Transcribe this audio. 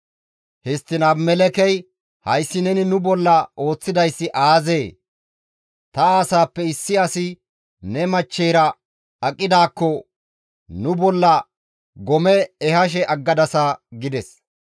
Histtiin Abimelekkey, «Hayssi neni nu bolla ooththidayssi aazee? Ta asaappe issi asi ne machcheyra aqidaakko nu bolla gome ehashe aggadasa» gides.